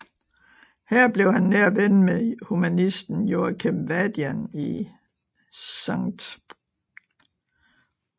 Her blev han nær ven med humanisten Joachim Vadian i St